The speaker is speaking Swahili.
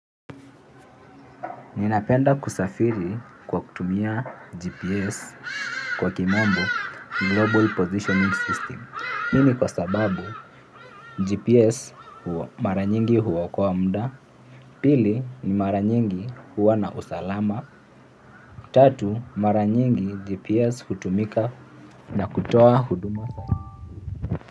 Ninapenda kusafiri kwa kutumia GPS kwa kimombo Global Positioning System. Hii ni kwa sababu GPS mara nyingi huokoa muda, pili ni mara nyingi huwa na usalama, tatu mara nyingi GPS hutumika na kutoa huduma.